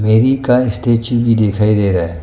का स्टेच्यू भी दिखाई दे रहा--